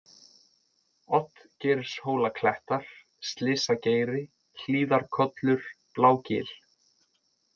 Oddgeirshólaklettar, Slysageiri, Hlíðarkollur, Blágil